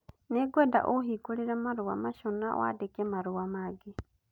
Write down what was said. Nĩngwenda ũhingũre marũa macio na wandike marũa mangĩ